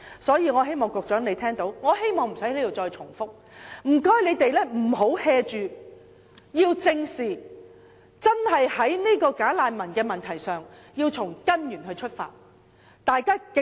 所以，我希望局長聽到，我亦希望無須在此重複，便是請他們不要""做，要正視問題，在"假難民"的問題上，要從根源出發。